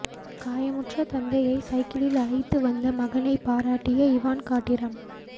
காயமுற்ற தந்தையை சைக்கிளில் அழைத்து வந்த மகளை பாராட்டிய இவான்கா டிரம்ப்